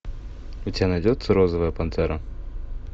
у тебя найдется розовая пантера